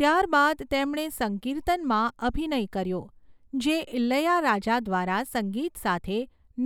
ત્યારબાદ તેમણે 'સંકીર્તન'માં અભિનય કર્યો, જે ઇલૈયારાજા દ્વારા સંગીત સાથે